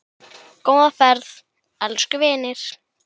Góða ferð, elsku vinur.